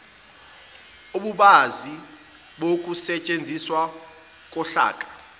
ububanzi bokusetshenziswa kohlaka